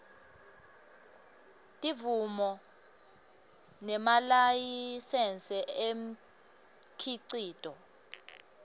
timvumo nemalayisensi umkhicito